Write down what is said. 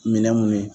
Minɛ mun ye